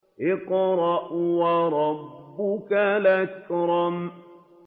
اقْرَأْ وَرَبُّكَ الْأَكْرَمُ